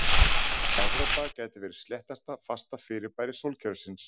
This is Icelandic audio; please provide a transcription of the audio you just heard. Evrópa gæti verið sléttasta fasta fyrirbæri sólkerfisins.